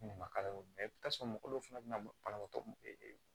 Ne ma mɛ i bi t'a sɔrɔ mɔgɔ dɔw fana be na banabaatɔ